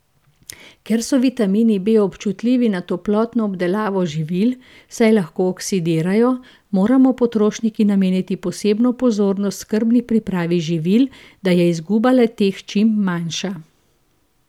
Ker so vitamini B občutljivi na toplotno obdelavo živil, saj lahko oksidirajo, moramo potrošniki nameniti posebno pozornost skrbni pripravi živil, da je izguba le teh čim manjša.